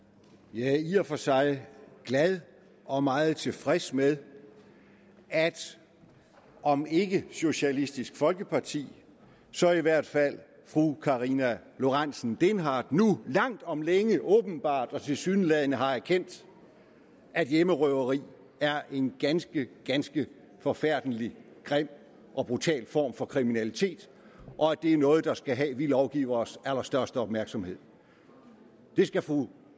jeg er i og for sig glad og meget tilfreds med at om ikke socialistisk folkeparti så i hvert fald fru karina lorentzen dehnhardt nu langt om længe åbenbart og tilsyneladende har erkendt at hjemmerøveri er en ganske ganske forfærdelig grim og brutal form for kriminalitet og at det er noget der skal have vi lovgiveres allerstørste opmærksomhed det skal fru